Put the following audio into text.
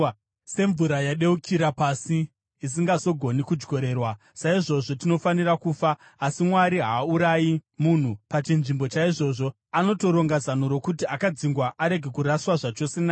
Semvura yadeukira pasi, isingazogoni kudyorerwa, saizvozvo tinofanira kufa. Asi Mwari haaurayi munhu; pachinzvimbo chaizvozvo anotoronga zano rokuti akadzingwa arege kuraswa zvachose naye.